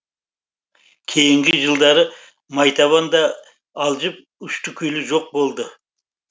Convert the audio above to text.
кейінгі жылдары майтабан да алжып ұшты күйлі жоқ болды